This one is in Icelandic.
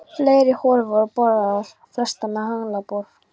Fleiri holur voru boraðar, flestar með haglabor.